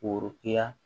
Koroya